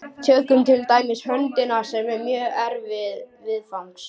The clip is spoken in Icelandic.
Tökum til dæmis höndina, sem er mjög erfið viðfangs.